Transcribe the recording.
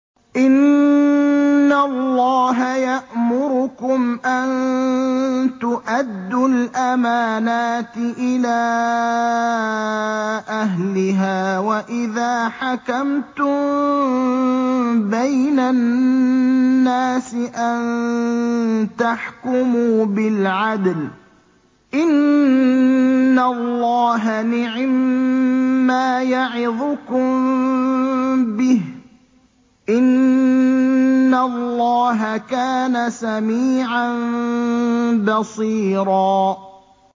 ۞ إِنَّ اللَّهَ يَأْمُرُكُمْ أَن تُؤَدُّوا الْأَمَانَاتِ إِلَىٰ أَهْلِهَا وَإِذَا حَكَمْتُم بَيْنَ النَّاسِ أَن تَحْكُمُوا بِالْعَدْلِ ۚ إِنَّ اللَّهَ نِعِمَّا يَعِظُكُم بِهِ ۗ إِنَّ اللَّهَ كَانَ سَمِيعًا بَصِيرًا